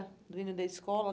Do hino da escola?